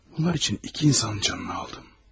Bunlar üçün iki insanın canını aldım.